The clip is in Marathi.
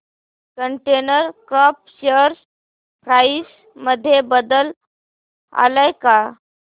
कंटेनर कॉर्प शेअर प्राइस मध्ये बदल आलाय का